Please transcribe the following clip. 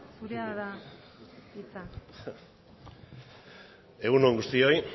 zurea da hitza egun on guztioi